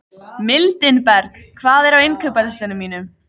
Mildinberg, hvað er á innkaupalistanum mínum?